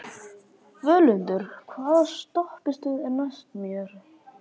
Völundur, hvaða stoppistöð er næst mér?